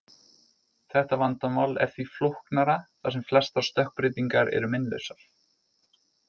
Þetta vandamál er því flóknara þar sem flestar stökkbreytingar eru meinlausar.